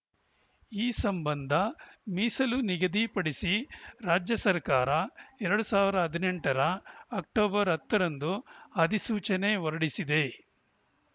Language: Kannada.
ಈ ಸಂಬಂಧ ಮೀಸಲು ನಿಗದಿ ಪಡಿಸಿ ರಾಜ್ಯ ಸರ್ಕಾರ ಎರಡು ಸಾವಿರ ಹದಿನೆಂಟರ ಅಕ್ಟೋಬರ್ ಹತ್ತರಂದು ಅಧಿಸೂಚನೆ ಹೊರಡಿಸಿದೆ